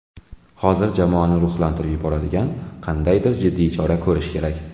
Hozir jamoani ruhlantirib yuboradigan qandaydir jiddiy chora ko‘rish kerak.